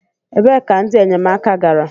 Ebee ka ndị enyemaka gara?